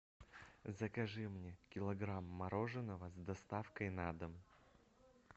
закажи мне килограмм мороженого с доставкой на дом